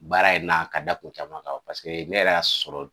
Baara in na ka da kun caman ka o ne yɛrɛ y'a sɔrɔ